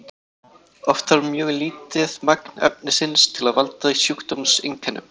oft þarf mjög lítið magn efnisins til að valda sjúkdómseinkennum